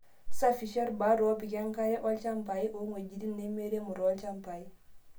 Safishaa irbaat opik enkare ilchambai ong'wejitin nemeiremo tolchambai.